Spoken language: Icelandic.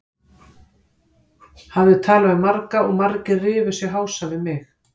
Hafði talað við marga og margir rifu sig hása við mig.